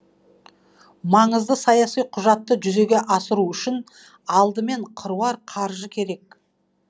маңызды саяси құжатты жүзеге асыру үшін алдымен қыруар қаржы керек